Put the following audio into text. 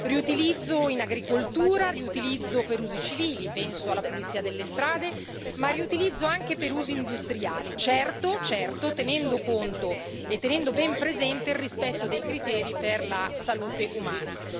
Riutilizzo in agricoltura, riutilizzo per usi civili penso alla pulizia delle strade ma riutilizzo anche per usi industriali. Certo, certo, tenendo conto e tenendo ben presente il rispetto dei criteri per la salute umana.